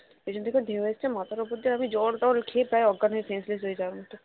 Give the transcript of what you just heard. পেছন থেকে ঢেউ এসেছে মাথার উপর দিয়ে আমি জল টল খেয়ে প্রায় অজ্ঞান হয়ে senseless হয়ে যায়